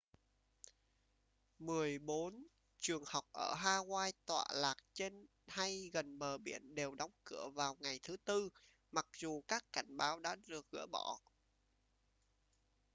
mười bốn trường học ở hawaii tọa lạc trên hay gần bờ biển đều đóng cửa vào ngày thứ tư mặc dù các cảnh báo đã được gỡ bỏ